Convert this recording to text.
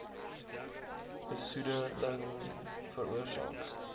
besoede ling veroorsaak